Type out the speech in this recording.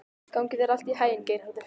Gangi þér allt í haginn, Geirharður.